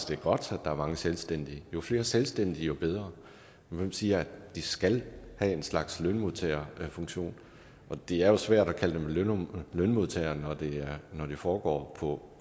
det er godt at der er mange selvstændige jo flere selvstændige jo bedre hvem siger at de skal have en slags lønmodtagerfunktion det er jo svært at kalde dem lønmodtagere når det når det foregår på